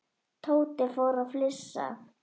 Tóti fór að flissa.